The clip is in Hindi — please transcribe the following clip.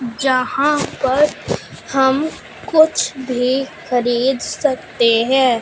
जहां पर हम कुछ भी खरीद सकते हैं।